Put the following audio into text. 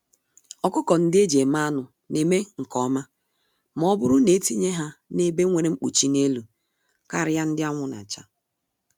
Ọkụkọ-ndị-eji-eme-anụ neme nke ọma mọbụrụ netinye ha n'ebe nwere nkpuchi n'elu, karịa ndị anwụ nacha.